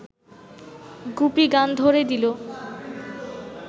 গুপি গান ধ’রে দিল